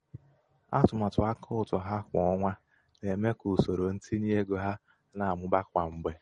atụmatụ akautu ha kwa onwa na-eme.ka usoro ntinye nego ha na-amụba kwa mgbe.